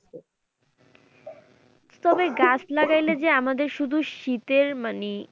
তবে গাছ লাগাইলে যে আমাদের শুধু শীতের মানে